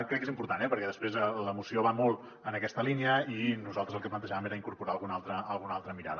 crec que és important eh perquè després la moció va molt en aquesta línia i nosaltres el que plantejàvem era incorporar hi alguna altra mirada